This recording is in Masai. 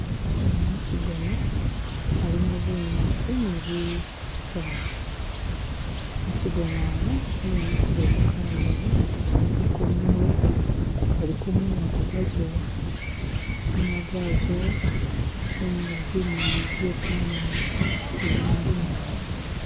imu mukyigona alimu bunyasi ni bisaala mukyigona mu mwimikilemu kanyunyi kaliko munwe kaliko munwa gugwazowa munwa gwazowa nenga zimoni zekanyonyi ka ndambi nabi